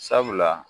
Sabula